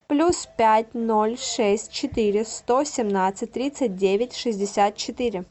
плюс пять ноль шесть четыре сто семнадцать тридцать девять шестьдесят четыре